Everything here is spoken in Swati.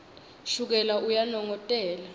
shukela uyanongotela